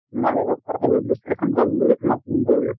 তোমাৰ লগত কথাবোৰ discussion কৰিম বুলি তোমাক phone কৰিলোঁ।